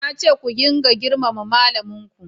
Na ce ku ringa girmama malamin ku!